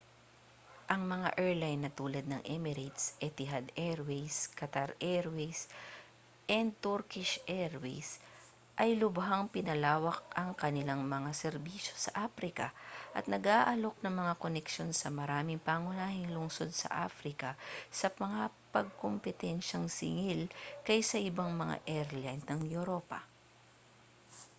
ang mga airline na tulad ng emirates etihad airways qatar airways & turkish airlines ay lubhang pinalawak ang kanilang mga serbisyo sa afrika at nag-aalok ng mga koneksyon sa maraming pangunahing lungsod sa afrika sa mapagkumpitensiyang singil kaysa ibang mga airline ng europa